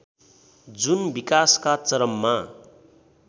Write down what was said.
जुन विकासका चरममा